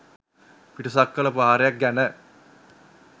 පිටසක්වල ප්‍රහාරයක් ගැන.